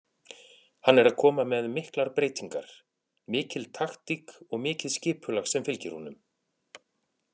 Hann er að koma með miklar breytingar, mikil taktík og mikið skipulag sem fylgir honum.